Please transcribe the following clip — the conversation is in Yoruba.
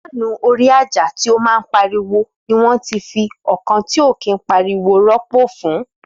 Faáànù orí ájá, ni kete ti ariwo diẹ, rọpo fun ọkan ti o dakẹ.